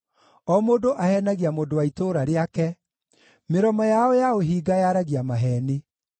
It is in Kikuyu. O mũndũ aheenagia mũndũ wa itũũra rĩake; mĩromo yao ya ũhinga yaragia maheeni.